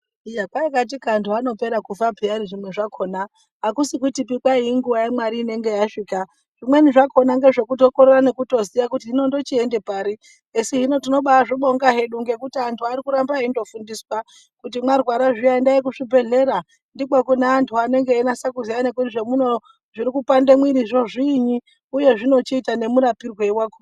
Iya kwai katika antu haanopera kufa payani zviro zvakhona akusi kutipi kwai inguwa yamwari inenge yasvika zvimweni zvakhona ngezvekutokorera nekutoziya hino ndochiende pari esi hino tinobazvibonga hedu ngekuti antu ari kundoramba eindofundiswa kuti mwarwara zviya endai kuzvibhedhlera ndikwo kune antu anenga einase kuziya nekuti zvemunoo zviri kupande mwirizvo zviini uye zvinochiitwa nemurapirwei wakona.